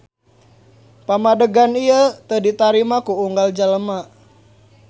Pamadegan ieu teu ditarima ku unggal jelema.